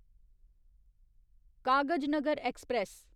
Kagaznagar express